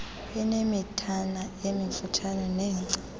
inemithana emifutshane nengca